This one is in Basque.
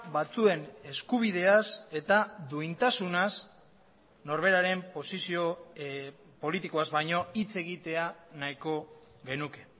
batzuen eskubideaz eta duintasunaz norberaren posizio politikoaz baino hitz egitea nahiko genuke